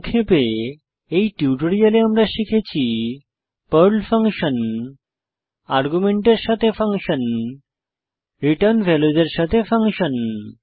সংক্ষেপে এই টিউটোরিয়ালে আমরা শিখেছি পর্ল ফাংশন আর্গুমেন্টের সাথে ফাংশন এবং রিটার্ন ভ্যালুসের সাথে ফাংশন